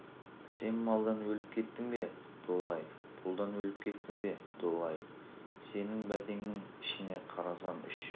сен малдан өліп кеттің бе долы-ай пұлдан өліп кеттің бе долы-ай сенің бәтеңнің ішіне қарасам үш